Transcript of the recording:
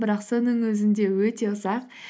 бірақ соның өзінде өте ұзақ